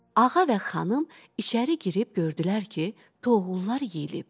Ağa və xanım içəri girib gördülər ki, toğullar yeyilib.